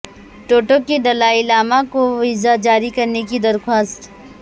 ٹوٹو کی دلائی لاما کو ویزہ جاری کرنے کی درخواست